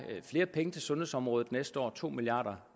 flere penge til sundhedsområdet næste år to milliard